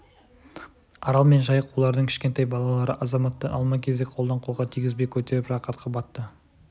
арал мен жайық олардың кішкентай балалары азаматты алма-кезек қолдан-қолға тигізбей көтеріп рақатқа батты